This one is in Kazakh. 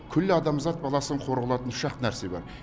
күллі адамзат баласын қор қылатын үш ақ нәрсе бар